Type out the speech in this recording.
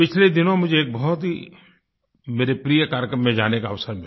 पिछले दिनों मुझे एक बहुत ही मेरे प्रिय कार्यक्रम में जाने का अवसर मिला